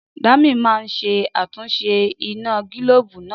Dami máa ṣe àtúnṣe iná gílóòbù náà